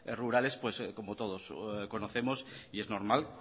rurales como todos conocemos y es normal